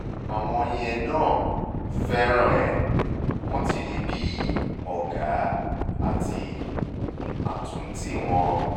àwọn yẹn náà fẹ́ràn ẹ̀ wọ́n ti rí i bí ọ̀gá bí ọ̀gá àti àtúntì wọn